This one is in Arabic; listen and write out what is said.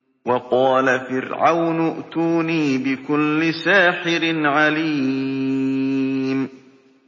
وَقَالَ فِرْعَوْنُ ائْتُونِي بِكُلِّ سَاحِرٍ عَلِيمٍ